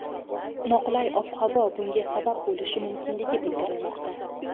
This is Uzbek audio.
Noqulay ob-havo bunga sabab bo‘lishi mumkinligi bildirilmoqda.